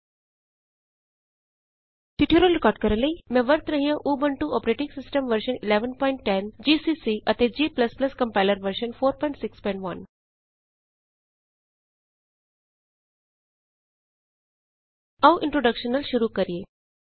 ਇਸ ਟਯੂਟੋਰਿਅਲ ਨੂੰ ਰਿਕਾਰਡ ਕਰਨ ਲਈ ਮੈਂ ਵਰਤ ਰਹੀ ਹਾਂ Ubuntu operating system version 1110 GCC ਅਤੇ g compiler version 461 Ubuntu operating system version 111010ਜੀਸੀਸੀ ਐਂਡ ਜੀ ਕੰਪਾਈਲਰ ਵਰਜ਼ਨ 461 ਆਉ ਇੰਟਰੋਡੇਕਸ਼ਨ ਨਾਲ ਸ਼ੁਰੂ ਕਰੀਏ